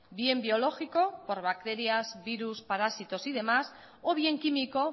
bien biológico por bacterias virus parásitos y demás o bien químico